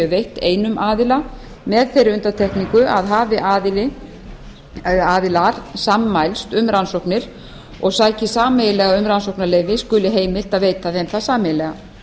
veitt einum aðila með þeirri undantekningu að hafi aðilar sammælst um rannsóknir og sæki sameiginlega um rannsóknarleyfi skuli heimilt að veita þeim það sameiginlega